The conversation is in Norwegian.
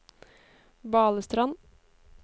Balestrand